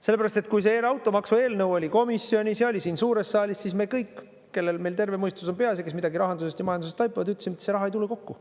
Sellepärast et kui see automaksu eelnõu oli komisjonis ja oli siin suures saalis, siis me kõik, kellel meil terve mõistus on peas ja kes midagi rahandusest ja majandusest taipavad, ütlesid, et see raha ei tule kokku.